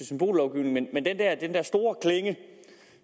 symbollovgivning og den der store klinge